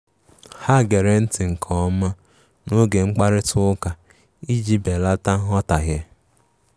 Ha gere nti nke ọma n'oge mkparịta ụka ụka iji belata nghọtahie.